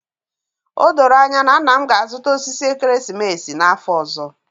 O doro anya na nna m ga-azụta osisi ekeresimesi n'afọ ọzọ